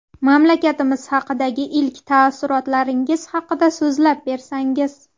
Mamlakatimiz haqidagi ilk taassurotlaringiz haqida so‘zlab bersangiz.